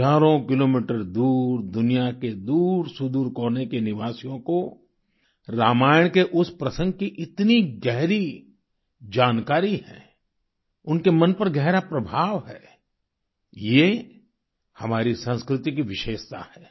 हजारों किलोमीटर दूर दुनिया के दूरसुदूर कोने के निवासियों को रामायण के उस प्रसंग की इतनी गहरी जानकारी है उनके मन पर गहरा प्रभाव है ये हमारी संस्कृति की विशेषता है